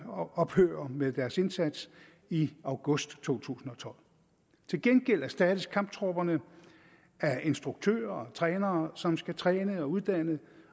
ophører med deres indsats i august to tusind og tolv til gengæld erstattes kamptropperne af instruktører og trænere som skal træne og uddanne